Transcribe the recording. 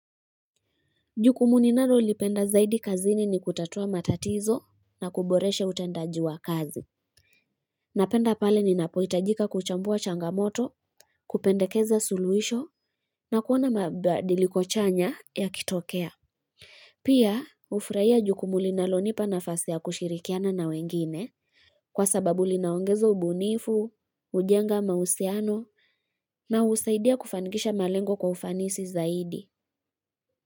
Jukumu ninalolilipenda zaidi kazini ni kutatua matatizo na kuboresha utendaji wa kazi. Napenda pale ninapohitajika kuchambua changamoto, kupendekeza suluhisho na kuona mabadiliko chanya yakitokea. Pia, hufurahia jukumu linalonipa nafasi ya kushirikiana na wengine kwa sababu linaongeza ubunifu, hujenga mahusiano na husaidia kufanikisha malengo kwa ufanisi zaidi.